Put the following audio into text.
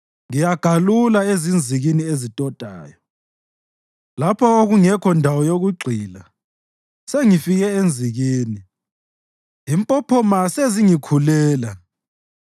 Ngiyagalula ezinzikini ezitotayo, lapho okungekho ndawo yokugxila. Sengifike enzikini; impophoma sezingikhulela.